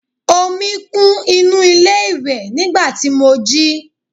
omi kún inú ilé iwe nigba tí mo jí